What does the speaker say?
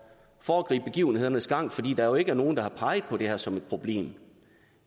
foregribe begivenhedernes gang fordi der jo ikke er nogen der har peget på det her som et problem